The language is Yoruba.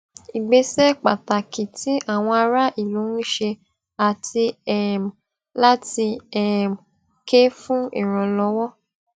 ìgbésẹ pàtàkì tí àwọn ará ìlú ń ṣe àti um láti um ké fun ìrànlọwọ